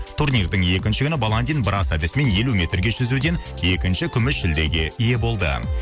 турнирдің екінші күні баландин брас әдісімен елу метрге жүзуден екінші күміс жүлдеге ие болды